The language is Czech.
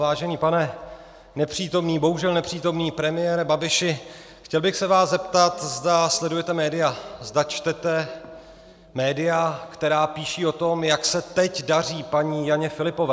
Vážený pane nepřítomný, bohužel nepřítomný premiére Babiši, chtěl bych se vás zeptat, zda sledujete média, zda čtete média, která píší o tom, jak se teď daří paní Janě Filipové.